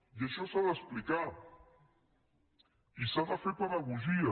i això s’ha d’explicar i s’ha de fer pedagogia